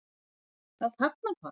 Nú spyr ég- er þetta ekki rangstaða?